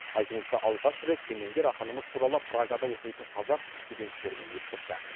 айтуынша алғаш рет кемеңгер ақынымыз туралы прагада оқитын қазақ студенттерінен естіпті